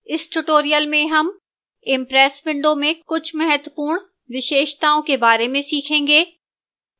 इस tutorial में हम impress window में कुछ महत्वपूर्ण विशेषताओं के बार में सीखेंगे